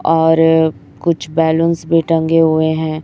और कुछ बलूंस भी टंगे हुए हैं।